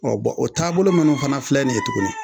Ɔ bɔn o taabolo minnu fana filɛ nin ye tuguni.